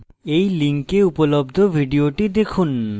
এই link উপলব্ধ video দেখুন